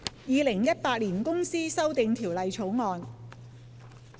《2018年公司條例草案》。